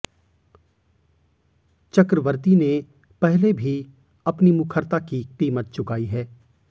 चक्रवर्ती ने पहले भी अपनी मुखरता की कीमत चुकाई है